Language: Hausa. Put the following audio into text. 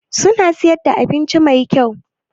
Suna siyar da abinci Mai kyau?